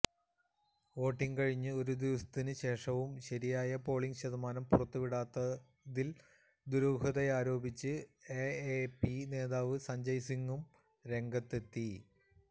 voting കഴിഞ്ഞ് ഒരു ദിവസത്തിന് ശേഷവും ശരിയായ പോളിംഗ് ശതമാനം പുറത്തുവിടാത്തതിൽ ദുരൂഹതയാരോപിച്ച് എഎപി നേതാവ് സഞ്ജയ് സിംഗും രംഗത്തെത്തി